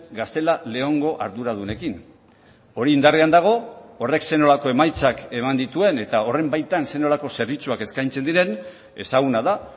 gaztela leongo arduradunekin hori indarrean dago horrek zer nolako emaitzak eman dituen eta horren baitan zer nolako zerbitzuak eskaintzen diren ezaguna da